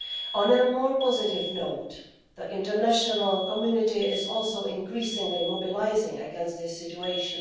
On a more positive note, the international community is also increasingly mobilising against this situation.